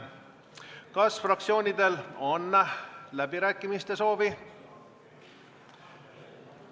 Kas fraktsioonidel on läbirääkimiste soovi?